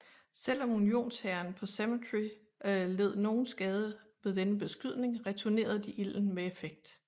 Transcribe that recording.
Selv om Unionshæren på Cemetery led nogen skade ved denne beskydning returnerede de ilden med effekt